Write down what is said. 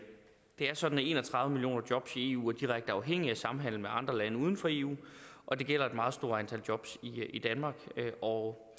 er sådan at en og tredive millioner jobs i eu er direkte er afhængige af samhandel med andre lande uden for eu og det gælder et meget stort antal jobs i danmark og